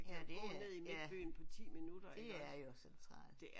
Ja det er ja det er jo centralt